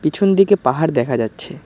পিছন দিকে পাহাড় দেখা যাচ্ছে।